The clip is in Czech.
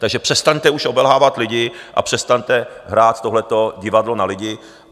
Takže přestaňte už obelhávat lidi a přestaňte hrát tohle divadlo na lidi.